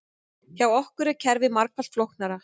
Hjá okkur er kerfið margfalt flóknara